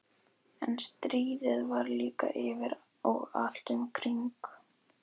En stríðið var líka yfir og allt um kring.